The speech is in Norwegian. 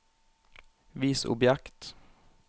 vis objekt